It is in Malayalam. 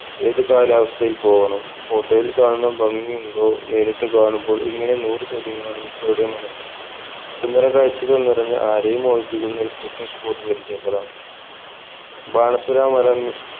ഏത് കാലാവസ്ഥയിൽ പോകണം photo യിൽ കാണുന്ന ഭംഗിയുണ്ടോ നേരിട്ട് കാണുമ്പോൾ ഇങ്ങനെ നൂർ ചോദ്യങ്ങളാണ് മിക്കവരുടെ മനസ്സിൽ സുന്ദര കാഴ്ചകൾ നിറഞ്ഞ ആരെയും മോഹിപ്പിക്കുന്ന ഒരു trucking spot പരിചയപ്പെടാം ബാണാസുര മല